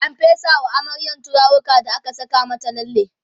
an fesa wa amaryar turaruka da aka Saka mata lalle